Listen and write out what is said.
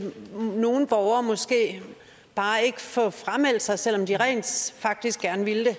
nogle borgere måske bare ikke få frameldt sig selv om de rent faktisk gerne ville